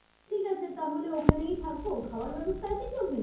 ঠিক আছে তাহলে ওখানেই থাকবো। খাওয়ার ব্যাবস্থা আছে কি ওখানে?